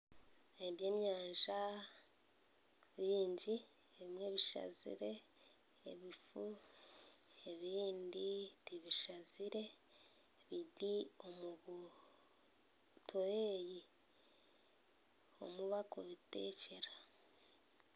Ebyenyanja byingi ebimwe bishazire ebifu ebindi tibishazire biri omu butureeyi omu barikubiteekyera